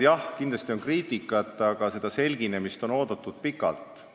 Jah, kindlasti on ka kriitikat, aga turuosalised on seda selginemist oodanud pikalt.